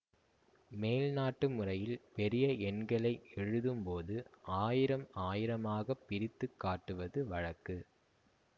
மேல் நாட்டு முறையில் பெரிய எண்களை எழுதும் போது ஆயிரம் ஆயிரமாகப் பிரித்து காட்டுவது வழக்கு